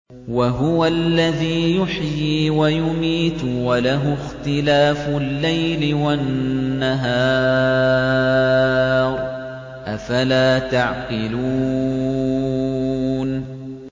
وَهُوَ الَّذِي يُحْيِي وَيُمِيتُ وَلَهُ اخْتِلَافُ اللَّيْلِ وَالنَّهَارِ ۚ أَفَلَا تَعْقِلُونَ